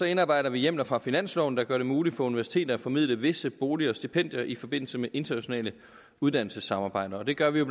indarbejder vi hjemler fra finansloven der gør det muligt for universiteter at formidle visse boliger og stipendier i forbindelse med internationale uddannelsessamarbejder og det gør vi jo